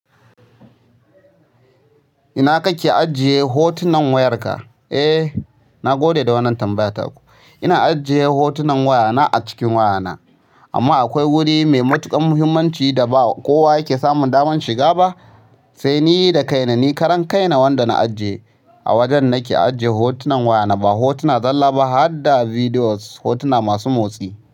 Ina kake ajiye hotunan wayarka? Eh, na gode da wannan tambaya taku. Ina ajiye hotunan wayana a cikin wayana. Amma akwai wuri mai matuƙar muhimmanci da ba kowa yake samun damar shiga ba, sai ni da kaina. Ni karan kaina wanda na ajiye a wajen nake ajiye hotunan wayana. Ba hotuna zalla ba, har da bidiyos hotuna masu motsi.